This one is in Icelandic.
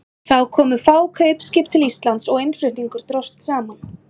Þá komu fá kaupskip til Íslands og innflutningur dróst saman.